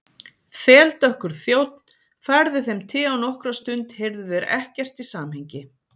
Þeldökkur þjónn færði þeim te og nokkra stund heyrðu þeir ekkert í samhengi.